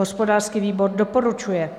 Hospodářský výbor doporučuje.